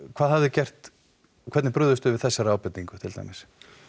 hvað hafið þið gert hvernig brugðust þið við þessari ábendingu til dæmis